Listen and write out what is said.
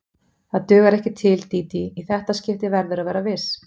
Það dugar ekki til, Dídí, í þetta skipti verðurðu að vera viss.